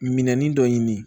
Minɛnin dɔ ɲini